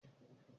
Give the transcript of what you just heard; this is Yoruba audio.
Báyọ̀ jẹ́ atukọ̀